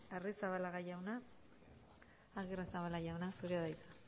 agirrezabala jauna zurea da hitza